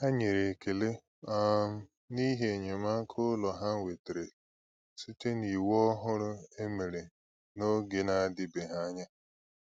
Ha nyere ekele um n’ihi enyémàkà ụlọ ha nwetara site n’iwu òhùrù e mere n'oge na-adịbeghị anya.